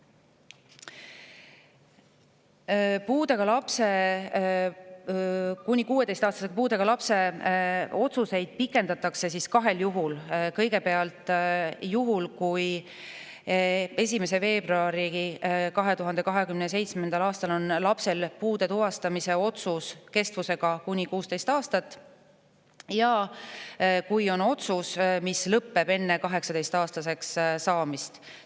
Kuni 16-aastase puudega lapse otsuseid pikendatakse kahel juhul: kui 1. veebruaril 2027. aastal on lapsel puude tuvastamise otsus kestvusega kuni 16 aastat ja kui on otsus, mis lõpeb enne 18-aastaseks saamist.